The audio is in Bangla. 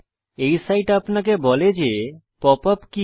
এই সাইট আপনাকে বলে যে pop ইউপি কি